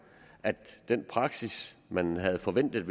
at den praksis man havde forventet